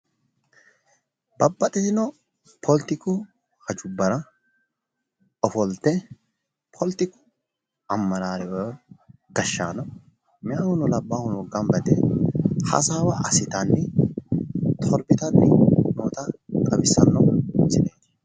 babaxxitino poletiku hajubbara ofolte poletiku ammaraare woyi gashshaano meyaahuno labbaahuno ganba yite hasaawa assitanni torbitanni noota xawissanno misileeti.